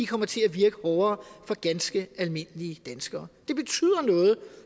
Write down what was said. kommer til at virke hårdere for ganske almindelige danskere det betyder